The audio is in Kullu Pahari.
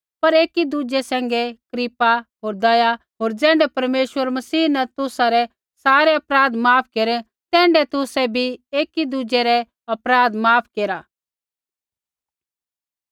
पर एकीदुज़ै पैंधै कृपा होर दयालु हो होर ज़ैण्ढै परमेश्वरै मसीह न तुसा रै सारै अपराध माफ केरै तैण्ढै तुसै भी एकी दुज़ै रै अपराध माफ केरा